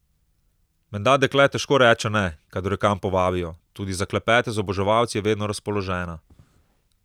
Menda dekle težko reče ne, kadar jo kam povabijo, tudi za klepete z oboževalci je vedno razpoložena.